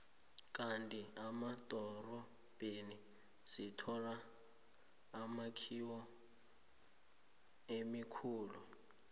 kandi emadorobheni sithola imakhiwo emikhulu